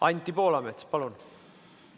Anti Poolamets, palun!